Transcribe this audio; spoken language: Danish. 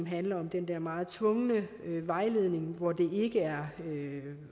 handle om den der meget tvungne vejledning hvor det ikke er